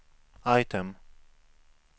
item